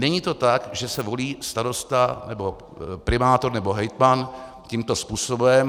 Není to tak, že se volí starosta nebo primátor nebo hejtman tímto způsobem.